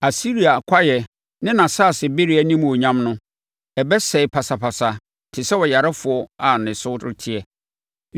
Asiria kwaeɛ ne nʼasase bereɛ animuonyam no, ɛbɛsɛe pasapasa te sɛ ɔyarefoɔ a ne so reteɛ.